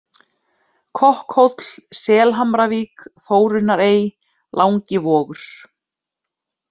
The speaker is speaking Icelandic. Kokkhóll, Selhamravík, Þórunnarey, Langivogur